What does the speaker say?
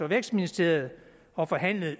vækstministeriet og forhandlet